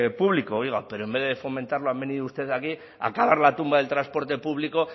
público oiga pero en vez de fomentarlo han venido ustedes aquí a cavar la tumba del transporte público